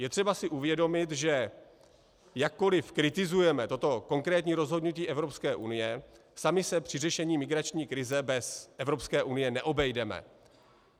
Je třeba si uvědomit, že jakkoli kritizujeme toto konkrétní rozhodnutí Evropské unie, sami se při řešení migrační krize bez Evropské unie neobejdeme.